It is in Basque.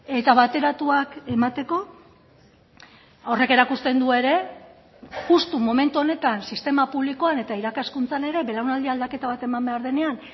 eta bateratuak emateko horrek erakusten du ere justu momentu honetan sistema publikoan eta irakaskuntzan ere belaunaldi aldaketa bat eman behar denean